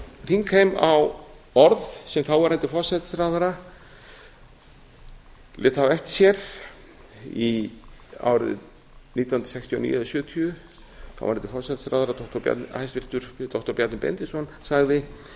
þingheim á orð sem þáverandi forsætisráðherra lét hafa eftir sér árið nítján hundruð sextíu og níu eða nítján hundruð sjötíu þáverandi forsætisráðherra hæstvirtur doktor bjarni benediktsson sagði